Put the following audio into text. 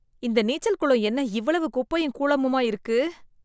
இந்த நீச்சல் குளம் என்ன இவ்வளவு குப்பையும் கூழமுமா இருக்கு